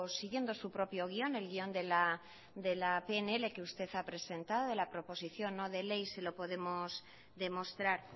siguiendo su propio guión el guión de la pnl que usted ha presentado la proposición no de ley se lo podemos demostrar